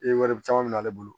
E wari caman min ale bolo